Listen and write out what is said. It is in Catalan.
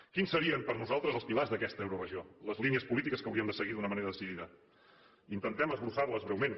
quins serien per nosaltres els pilars d’aquesta euroregió les línies polítiques que hauríem de seguir d’una manera decidida intentem esbossar les breument